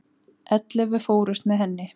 Ellefu fórust með henni.